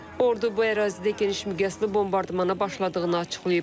Ordu bu ərazidə geniş miqyaslı bombardmana başladığını açıqlayıb.